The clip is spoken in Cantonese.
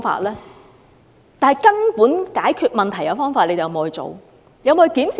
能根本解決問題的方法，政府有否採用？